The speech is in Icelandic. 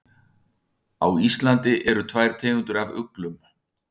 Á Íslandi eru tvær tegundir af uglum.